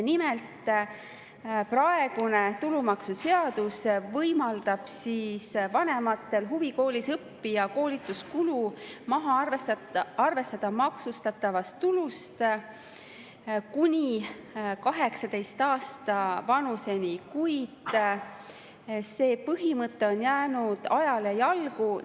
Nimelt, praegune tulumaksuseadus võimaldab vanematel huvikoolis õppija koolituskulu maksustatavast tulust maha arvestada kuni 18 aasta vanuseni, kuid see põhimõte on ajale jalgu jäänud.